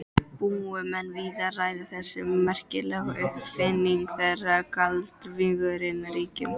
Búum en víða ræður þessi merkilega uppfinning þeirra, gaddavírinn, ríkjum.